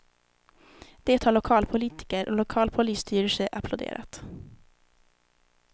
Det har lokalpolitiker och lokal polisstyrelse applåderat.